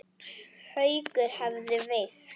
Haukur hefðu veikst.